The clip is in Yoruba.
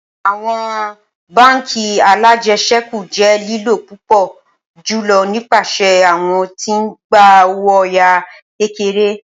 Awọn bánk alájẹsẹ́kù jẹ lilo pupọ julọ nipasẹ awọn ti n gba owo oya kekere